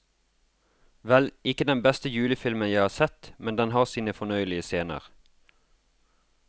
Vel, ikke den beste julefilmen jeg har sett, men den har sine fornøyelige scener.